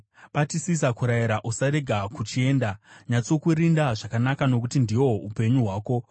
Batisisa kurayirwa, usarega kuchienda; nyatsokurinda zvakanaka, nokuti ndihwo upenyu hwako.